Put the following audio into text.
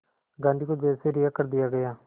गांधी को जेल से रिहा कर दिया गया